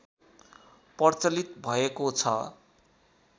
प्रचलित भएको छ